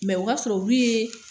o ka sɔrɔ olu ye